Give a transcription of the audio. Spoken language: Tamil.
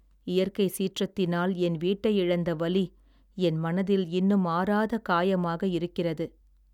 இயற்கை சீற்றத்தினால் என் வீட்டை இழந்த வலி என் மனதில் இன்னும் ஆறாத காயமாக இருக்கிறது.